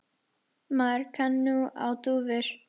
Maður kann nú á dúfur!